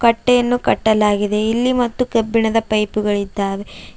ಕಟ್ಟೆಯನ್ನು ಕಟ್ಟಲಾಗಿದೆ ಇಲ್ಲಿ ಮತ್ತು ಕಬ್ಬಿಣದ ಪೈಪ್ ಗಳಿದ್ದಾವೆ.